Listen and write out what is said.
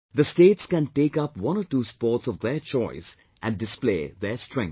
The states can take up one or two sports of their choice and display their strength